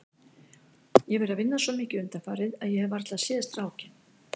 Ég hef verið að vinna svo mikið undanfarið að ég hef varla séð strákinn.